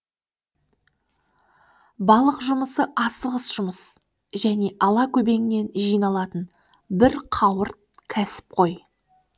балық жұмысы асығыс жұмыс және ала көбеңнен жиналатын бір қауырт кәсіп қой